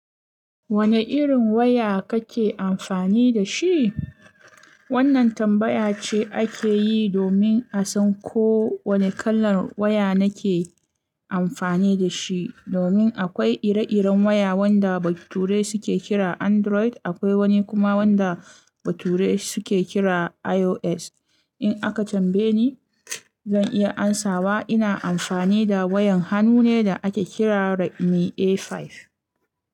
Wane irin waya kake amfani da shi? Wannan tambaya ce ake yi domin a san ko wane kalar waya nake amfani da shi. Domin akwai ire-iren waya wanda bature suke kira Android, akwai wani kuma wanda bature suke kira iOS. In aka tambaye ni, zan iya amsawa ina amfani da wayan hannu ne da ake kira Redmi A5.